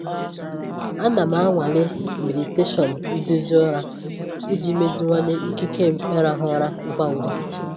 Ana m anwale meditation nduzi ụra iji meziwanye ikike m ịrahụ ụra ngwa ngwa.